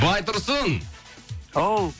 байтұрсын ау